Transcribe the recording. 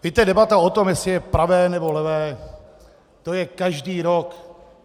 Víte, debata o tom, jestli je pravé, nebo levé, to je každý rok.